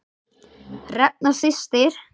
Hrefna systir.